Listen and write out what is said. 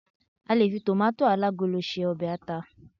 a lè fi tomato alagolo se obe ata